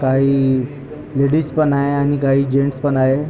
काही लेडिज पण आहे आणि काही जेंट्स पण आहे.